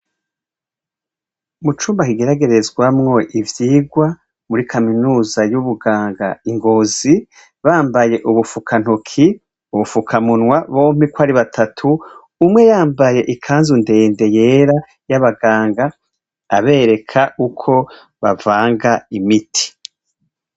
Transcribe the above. Mu cumba kigeragerezwamwo ivyirwa muri kaminuza y'ubuganga ingozi, bambaye ubufukantoki, ubufukamunwa, bompiko ari batatu umwe yambaye ikanzu ndende yera y'abaganga abereka uko bavanga imiti.